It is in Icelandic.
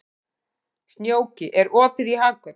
Snjóki, er opið í Hagkaup?